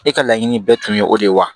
E ka laɲini bɛɛ tun ye o de ye wa